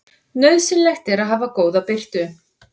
Nauðsynlegt er að hafa góða birtu.